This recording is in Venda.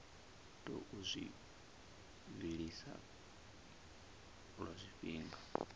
tou zwi vhilisa lwa tshifhinga